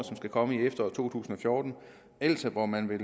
som skal komme i efteråret to tusind og fjorten altså hvor man vil